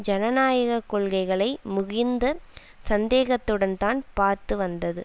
ஜனநாயக கொள்கைகளை மிகுந்த சந்தேகத்துடன்தான் பார்த்து வந்தது